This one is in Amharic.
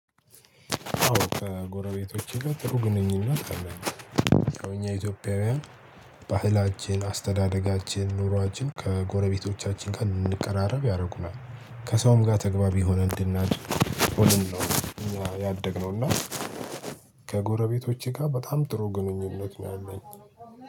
አዎ ከጎረቤቶቼ ጋር ጥሩ ግንኙነት አለን። ከእኛ ኢትዮጵያውያን ባህላችን አስተዳደጋችን ኑሯችን ከጎረቤቶቻችን ጋር እንድንቀራረብ ያደርጉናል። ከሰውም ጋር ተግባቢ ሆነን እንድናድር ሆነን ነው እኛ ያደግነው እና። ከጎረቤቶቼ ጋር በጣም ጥሩ ግንኙነት ነው ያለኝ